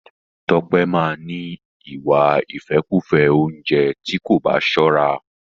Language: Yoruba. Tọ́pẹ́ máa ni ìwà ìfẹ́kùfẹ́ oúnjẹ tí kò bá sọ́ra.